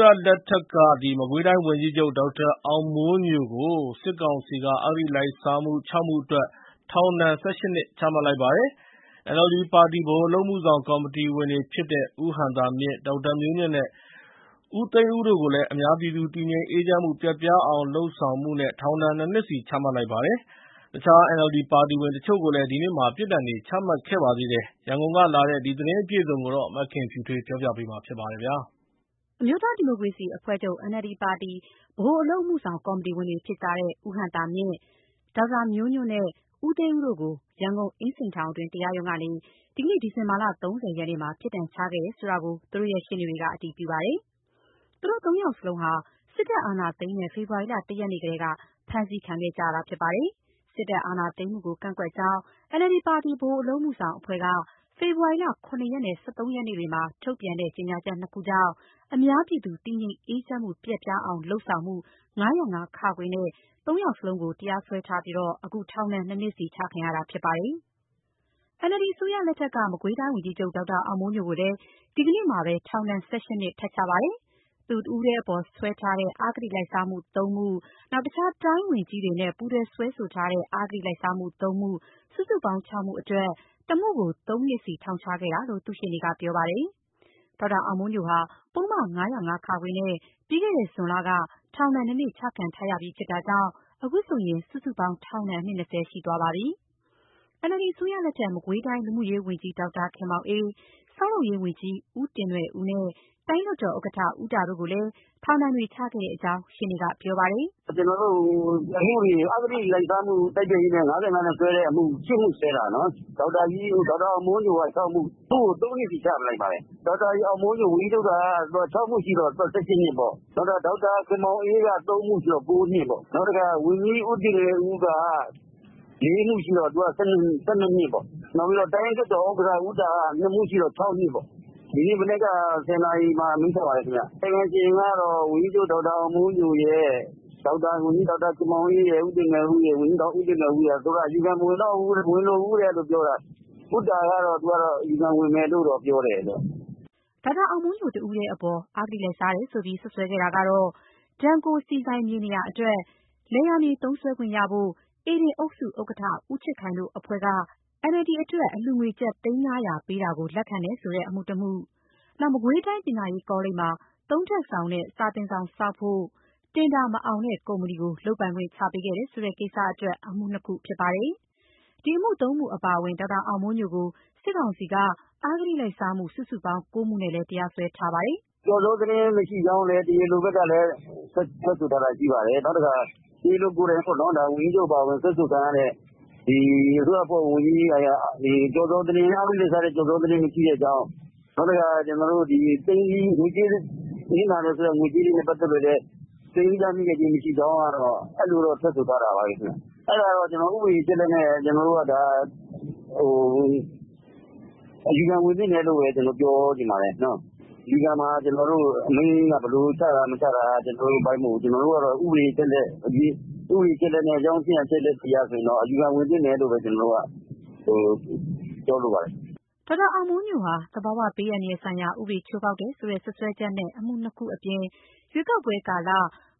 ရလက်ထက်က မကွေးတိုင်းဝန်ကြီးချုပ် ဒေါက်တာအောင်မိုးညိုကို စစ်ကောင်စီက အဂတိလိုက်စားမှု ၆ မှုအတွက် ထောင်ဒဏ် ၁၈ နှစ် ချလိုက်ပါတယ်။ NLD ပါတီ ဗဟိုအလုပ်အမှုဆောင်ကော်မတီဝင်တွေဖြစ်တဲ့ ဦးဟံသာမြင့်၊ ဒေါက်တာမျိုးညွန့်နဲ့ ဦးသိန်းဦးတို့ကိုလည်း အများပြည်သူတည်ငြိမ်အေးချမ်းမှု ပျက်ပြားအောင်လုပ်မှုနဲ့ ထောင်ဒဏ် နှစ်နှစ်စီ ချလိုက်ပါတယ်။ တခြား NLD ပါတီဝင်တချို့ကိုလည်း ဒီနေ့ ပြစ်ဒဏ်တွေ ချမှတ်ခဲ့ပါတယ်။ ရန်ကုန်ကလာတဲ့ ဒီသတင်းအပြည့်အစုံကို မခင်ဖြူထွေးက တင်ပြပေးထားပါတယ်။ အမျိုးသားဒီမိုကရေစီအဖွဲ့ချုပ် NLD ပါတီ ဗဟိုအလုပ်အမှုဆောင် ကော်မတီဝင်တွေဖြစ်တဲ့ ဦးဟံသာမြင့်၊ ဒေါက်တာမျိုးညွန့်နဲ့ ဦးသိန်းဦးတို့ကို ရန်ကုန်အင်းစိန်ထောင်တွင်း တရားရုံးကနေ ဒီနေ့ ဒီဇင်ဘာ ၃၀ ရက်နေ့မှာ ပြစ်ဒဏ်ချခဲ့တယ်ဆိုတာ သူတို့ရှေ့နေတွေက အတည်ပြုပါတယ်။ သူတို့ သုံးယောက်လုံးဟာ စစ်တပ်အာဏာသိမ်းတဲ့ ဖေဖော်ဝါရီလ ၁ ရက်နေ့ကတည်းက ဖမ်းဆီးခံခဲ့ကြရတာပါ။ စစ်တပ်အာဏာသိမ်းမှုကိုကန့်ကွက်ကြောင်း NLD ပါတီ ဗဟိုအလုပ်အမှုဆောင်အဖွဲ့က ဖေဖော်ဝါရီလ ၇ ရက်နဲ့ ၁၃ ရက်နေ့တွေမှာ ထုတ်ပြန်တဲ့ ကြေညာချက် နှစ်ခုကြောင့် အများပြည်သူတည်ငြိမ်အေးချမ်းမှု ပျက်ပြားအောင် လုပ်ဆောင်မှု ၅၀၅-ခ နဲ့ သုံးယောက်လုံး တရားစွဲခံရပြီး အခု ထောင်ဒဏ် နှစ်နှစ်စီ ချခံရတာဖြစ်ပါတယ်။ NLD အစိုးရလက်ထက်က မကွေးတိုင်းဝန်ကြီးချုပ် ဒေါက်တာအောင်မိုးညိုကိုလည်း ဒီနေ့မှာပဲ ထောင်ဒဏ် ၁၈ နှစ် ထပ်ချပါတယ်။ သူတဦးတည်းအပေါ် စွဲထားတဲ့ အဂတိလိုက်စားမှု ၃ မှု၊ တခြားတိုင်းဝန်ကြီးတွေနဲ့ ပူးတွဲစွဲဆိုထားတဲ့ အဂတိလိုက်စားမှု ၃ မှု၊ စုစုပေါင်း ၆ မှုအတွက် တမှုကို ၃ နှစ်စီ ထောင်ချခဲ့တာလို့ သူ့ရှေ့နေက ပြောပါတယ်။ ဒေါက်တာအောင်မိုးညိုဟာ ပုဒ်မ ၅၀၅ နဲ့ ပြီးခဲ့တဲ့ဇွန်လက ထောင်ဒဏ်နှစ်နှစ် ချခံထားရပြီးဖြစ်တာကြောင့် အခုဆိုရင် စုစုပေါင်းထောင်ဒဏ် နှစ် ၂၀ ရှိသွားပါပြီ။ NLD အစိုးရလက်ထက် မကွေးတိုင်း လူမှုရေးဝန်ကြီး ဒေါက်တာခင်မောင်အေး၊ ဆောက်လုပ်ရေးဝန်ကြီး ဦးတင်နွယ်ဦးနဲ့ တိုင်းလွှတ်တော်ဥက္ကဋ္ဌ ဦးတာတို့ကိုလည်းထောင်ဒဏ်တွေ ချခဲ့တဲ့အကြောင်း ရှေ့နေကပြောပါတယ်။ "အဂတိလိုက်စားမှု တိုက်ဖျက်ရေး ၅၅ နဲ့က ၈ မှုစွဲတာနော်။ ဒေါက်တာအောင်မိုးညို တယောက် တည်းက ၆မှု၊ တမှုကို သုံးနှစ်စီ ချလိုက်ပါတယ်။ ၆ မှုရှိတော့ ၁၈ နှစ်ပေါ့။ နောက် ဒေါက်တာခင်မောင်အေးက ၃ မှုဆိုတော့ ၉ နှစ်ပေါ့။ နောက်ဦးတင်နွယ်ဦးက ၄ မှုရှိတော့ သူက ၁၂ နှစ်ပေါ့။ နောက် တိုင်းလွှတ်တော်ဥက္ကဋ္ဌ ဦးတာက နှစ်မှုရှိတော့ ၆ နှစ်ပေါ့။ ဒီမနက် ၁၀ နာရီလောက် မှာ အမိန့်ချပါတယ်။ ကာယကံရှင် ဒေါက်တာအောင်မိုးညို၊ ဒေါက်တာခင်မောင်အေး၊ ဦးတင်နွယ်ဦးတို့ကတော့ အယူခံမဝင်တော့ဘူးပြောတာ။ ဦးတာကတော့ အယူခံဝင်မယ်ပြောတယ်။" ဒေါက်တာအောင်မိုးညို တယောက်တည်းအပေါ် အဂတိလိုက်စားတယ်ဆိုပြီး စွပ်စွဲခဲ့တာတွေကတော့ Denko ဆီဆိုင် မြေနေရာအတွက် လယ်ယာမြေ သုံးစွဲခွင့်ရဖို့ ဧဒင်အုပ်စုဥက္ကဋ္ဌ ဦးချစ်ခိုင်တို့ အဖွဲ့က NLD အတွက် အလှူငွေ ကျပ် သိန်း ၅၀၀ ပေးတာကို လက်ခံတယ်ဆိုတဲ့ အမှုတမှု၊ မကွေးပညာရေးကောလိပ်မှာ သုံးထပ်ဆောင်နဲ့ စာသင်ဆောင်ဆောက်ဖို့ တင်ဒါမအောင်တဲ့ကုမ္ပဏီကို လုပ်ပိုင်ခွင့် ချပေးခဲ့တယ်ဆိုတဲ့ကိစ္စအတွက် အမှု နှစ်ခုတို့ ဖြစ်ပါတယ်။ ဒီအမှု သုံးမှုအပါအဝင် ဒေါက်တာအောင်မိုးညိုကို စစ်ကောင်စီက အဂတိလိုက်စားမှု စုစုပေါင်း ၉ မှုနဲ့ တရားစွဲထားတာပါ။ "ကျော်ဇောသတင်းမရှိကြောင်းလည်း တရားလိုဘက်က ထွက်တယ်။ တရားလိုကိုယ်တိုင်ပြောတာပါ။ ဝန်ကြီးအပါအဝင် စွဲဆိုခံရတဲ့သူတွေဟာ အဂတိလိုက်စားမှု ကျော်ဇောသတင်းမရှိတဲ့အကြောင်း၊ နောက်တခုက နစ်နာတယ်ဆိုတဲ့ ငွေကြေးတွေနဲ့ပတ်သက်လို့ လည်း သိမ်းဆည်းရမိတာမရှိကြောင်း အဲလိုတော့ ထွက်ဆိုထားခဲ့တာပါပဲ။ အဲတော့ ကျနော်တို့ကတော့ ဥပဒေအချက်အလက်တွေ အရ အယူခံဝင်သင့်တယ်လို့ ပြောချင်ပါတယ်။ အယူခံမှာ အမိန့်က ဘယ်လိုချတာမချတာ ကျနော်တို့အပိုင်းမဟုတ်ဘူး။ ဥပဒေအချက်အလက် အကြောင်းအချင်းအရာ အချက်အလက်အရတော့ အယူခံဝင်သင့်တယ်လို့ပဲ ကျနော်ကတော့ပြောလိုပါတယ်။” ဒေါက်တာအောင်မိုးညိုဟာ သဘာဝဘေးအန္တရာယ်ဆိုင်ရာဥပဒေ ချိုးဖောက်တယ်ဆိုတဲ့ စွပ်စွဲချက်နဲ့ အမှုနှစ်ခုအပြင် ရွေးကောက်ပွဲကာလ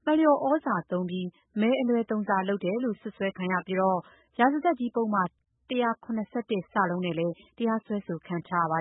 မလျော်ဩဇာသုံးပြီး မဲအလွဲသုံးစားလုပ်တယ်လို့ စွပ်စွဲပြီးတော့ ရာဇသတ်ကြီးပုဒ်မ ၁၇၁ နဲ့လည်းတရားစွဲခံထားရပါ